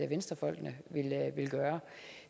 venstrefolkene vil gøre